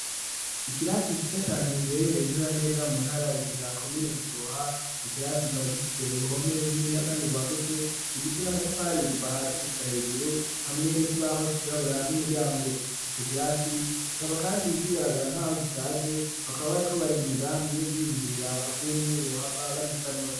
Ikirasi gisitsa cane giherereye nezananeza mu ntara ya gitegakomina gishoha ico kirasi gikaba gifise uruhome runi niya, kandi guhagutse rugize n'amatafariye kuva hasi gushuka hejuru hamweme kibahoco irabura n'umuryango ico kirasi gikaba, kandi ikigaragara nk'aho gishaje bakaba bari ko bari mu migambi yo kwiyumvira ukuntuuwbohava bagiza.